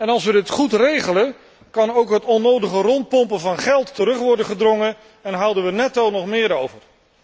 Als we het goed regelen, kan ook het onnodige rondpompen van geld worden teruggedrongen en houden we netto nog meer over.